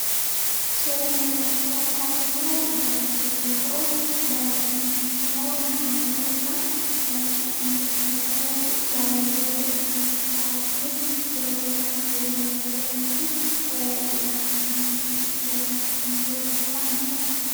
Suuraa kanarratti kan argaa jirruu barattoota yoo ta'u, barattoonni kunis immoo shamarrani dha. Hundisaaniituu baarollee isaanii fi kitaaba isaanii yeroo isaan qayyabachaa jiranii fi yaada isaanii seeraan itti kennanii yeroo dubbisan kan mul'ata.